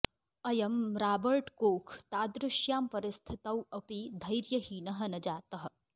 अयं Robert Koch तादृश्यां परिस्थितौ अपि धैर्यहीनः न जातः